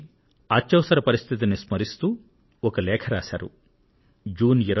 అత్యవసర పరిస్థితిని స్మరిస్తూ శ్రీ ప్రకాశ్ త్రిపాఠి ఒక లేఖ రాశారు